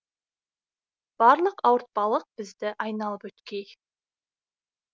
барлық ауыртпалық бізді айналып өткей